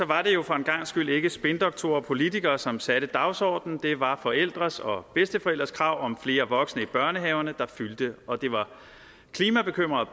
var det jo for en gangs skyld ikke spindoktorer og politikere som satte dagsordenen det var forældres og bedsteforældres krav om flere voksne i børnehaverne der fyldte og det var klimabekymrede